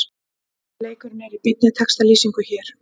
Leikurinn er í beinni textalýsingu hér